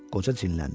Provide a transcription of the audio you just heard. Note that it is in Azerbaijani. qoca cinləndi.